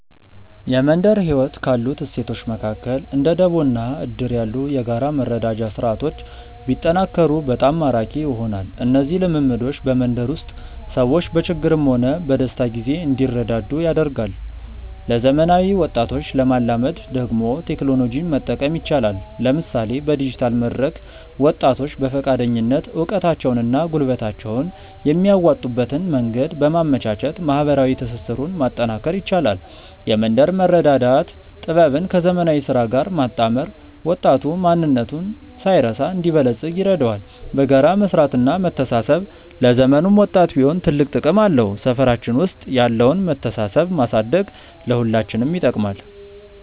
የመንደር ህይወት ካሉት እሴቶች መካከል እንደ ደቦ እና እድር ያሉ የጋራ መረዳጃ ስርዓቶች ቢጠናከሩ በጣም ማራኪ ይሆናሉ። እነዚህ ልምዶች በመንደር ውስጥ ሰዎች በችግርም ሆነ በደስታ ጊዜ እንዲረዳዱ ያደርጋሉ። ለዘመናዊ ወጣቶች ለማላመድ ደግሞ ቴክኖሎጂን መጠቀም ይቻላል፤ ለምሳሌ በዲጂታል መድረክ ወጣቶች በፈቃደኝነት እውቀታቸውንና ጉልበታቸውን የሚያዋጡበትን መንገድ በማመቻቸት ማህበራዊ ትስስሩን ማጠናከር ይቻላል። የመንደር መረዳዳት ጥበብን ከዘመናዊ ስራ ጋር ማጣመር ወጣቱ ማንነቱን ሳይረሳ እንዲበለጽግ ይረዳዋል። በጋራ መስራትና መተሳሰብ ለዘመኑም ወጣት ቢሆን ትልቅ ጥቅም አለው። ሰፈራችን ውስጥ ያለውን መተሳሰብ ማሳደግ ለሁላችንም ይጠቅማል።